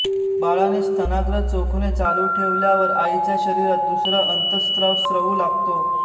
बाळाने स्तनाग्र चोखणे चालू ठेवल्यावर आईच्या शरीरात दूसरा अंतस्त्राव स्त्रवू लागतो